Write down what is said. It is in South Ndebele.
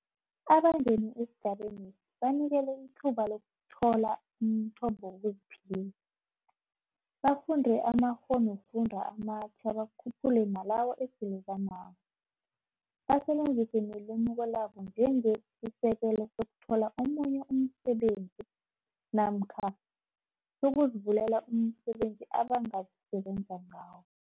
Abangene esigabenesi banikelwe ithuba lokuthola umthombo wokuziphilisa, bafunde amakghonofundwa amatjha bakhuphule nalawo esele banawo, basebenzise nelimuko labo njengesi sekelo sokuthola omunye umsebenzi namkha sokuzivulela umsebenzi abangazi sebenza ngawo.